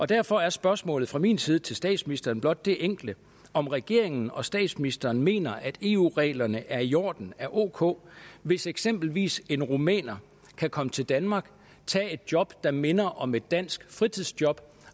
derfor er spørgsmålet fra min side til statsministeren blot det enkle om regeringen og statsministeren mener at eu reglerne er i orden er ok hvis eksempelvis en rumæner kan komme til danmark og tage et job der minder om et dansk fritidsjob